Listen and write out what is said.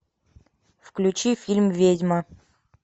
включи фильм ведьма